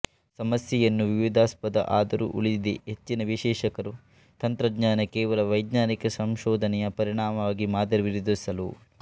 ಸಮಸ್ಯೆಯನ್ನು ವಿವಾದಾಸ್ಪದ ಆದರೂ ಉಳಿದಿದೆ ಹೆಚ್ಚಿನ ವಿಶ್ಲೇಷಕರು ತಂತ್ರಜ್ಞಾನ ಕೇವಲ ವೈಜ್ಞಾನಿಕ ಸಂಶೋಧನೆಯ ಪರಿಣಾಮವಾಗಿ ಮಾದರಿ ವಿರೋಧಿಸಲು